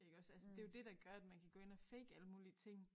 Iggås altså det jo det der gør at man kan gå ind og fake alle mulige ting